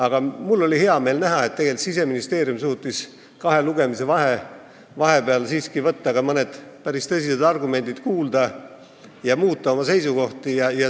Aga mul oli hea meel näha, et Siseministeerium suutis kahe lugemise vahepeal siiski võtta mõnda päris tõsist argumenti kuulda ja oma seisukohti muuta.